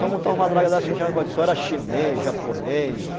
Só montar uma draga dessas, só era chinês, japonês.